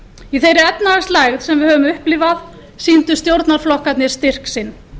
í þeirri efnahagslægð sem við höfum upplifað sýndu stjórnarflokkarnir styrk sinn